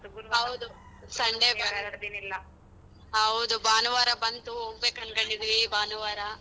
ಹೌದು Sunday ಹೌದು ಭಾನುವಾರ ಬಂತು ಹೋಗ್ಬೇಕು ಅನ್ಕೊಂಡಿದ್ದೀವಿ ಭಾನುವಾರ.